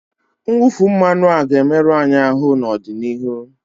Mwụfu mmanụ a ga-emerụ anyị ahụ n'ọdịnihu